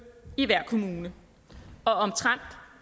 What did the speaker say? i hver kommune og omtrent